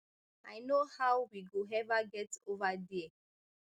i know how we go ever get ova dia